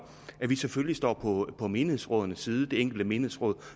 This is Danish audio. at vi selvfølgelig står på menighedsrådenes side det enkelte menighedsråd